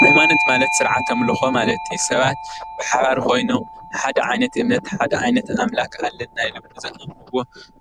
ሃይማኖት ማለት ስርዓት ኣምልኾ ማለት እዩ፡፡ ሰባት ብሓባር ኮይኖም ንሓደ ዓይነት እምነት ሓደ ዓይነት ኣምላኽ ኣለና ኢሎም ንዘምልኽዎ